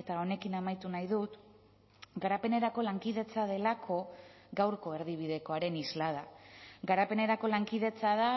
eta honekin amaitu nahi dut garapenerako lankidetza delako gaurko erdibidekoaren islada garapenerako lankidetza da